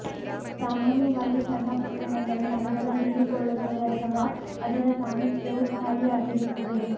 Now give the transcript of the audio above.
ಸಾಮಾನ್ಯವಾಗಿ ಸಣ್ಣ ಪಟ್ಟಣಗಳು ನಗರದ ಹೀರಿಕೊಳ್ಳುತ್ತವೆ ಅಥವಾ ಅದರ ಸಾಮೀಪ್ಯವು ಖಾಲಿಯಾಗಿರುತ್ತದೆ